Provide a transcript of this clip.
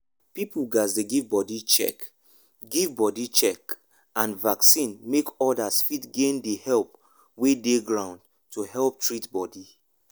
people gatz dey give body check give body check and vaccine make others fit gain the help wey dey ground to help treat body.